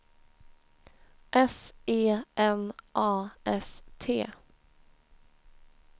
S E N A S T